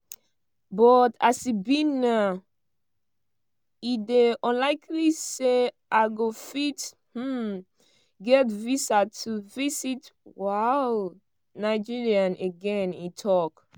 but as e be now "e dey unlikely say i go fit um get visa to visit um nigeria again" e tok.